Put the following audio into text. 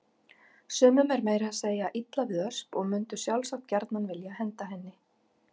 Sumum er meira að segja illa við Ösp og mundu sjálfsagt gjarnan vilja henda henni.